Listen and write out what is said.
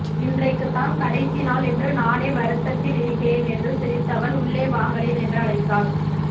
இன்றைக்குத்தான் கடைசிநாள் என்று நானே வருத்தத்தில் இருக்கிறேன் என்று சிரித்தவள் உள்ளே வாங்களேன் என்று அழைத்தாள்